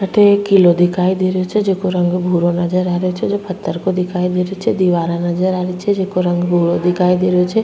अठे एक किलो दिखाई दे रहियो छे जेको रंग भूरो नजर आ रियो छे जो पत्थर को दिखाई दे रियो छे दीवारा नजर आ रही छे जेको रंग भूरो दिखाई दे रहियो छे।